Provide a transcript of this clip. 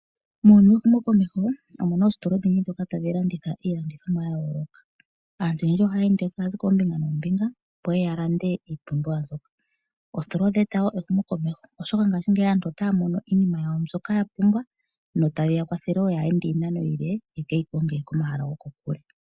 Muuyuni wehumokomeho omuna oositola odhindji ndhoka tadhi landitha iilandithomwa yayooloka. Aantu oyendji ohaya ende taya zi koombinga noombinga opo yeye ya lande iipumbiwa mbyoka. Oositola odha eta wo ehumokomeho oshoka ngashingeyi aantu otaya mono iinima yawo mbyoka yapumbwa notayi yakwathele wo kaayeende iinano iile yeke yi konge komahala gokokule.